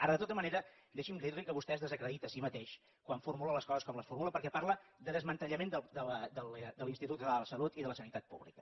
ara de tota manera deixi’m dir li que vostè es desacredita a si mateix quan formula les coses com les formula perquè parla de desmantellament de l’institut català de la salut i de la sanitat pública